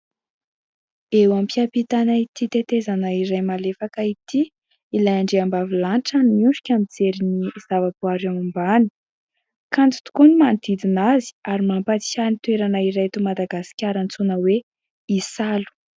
Eo am pihapitana ity tetezana iray malefaka ity ilay andriambavilanitra no miondrika mijery ny zavaboary ao ambany, kanto tokoa ny manodidina azy ary mampatsiahy ny toerana iray eto madagasikara antsoina hoe isalo.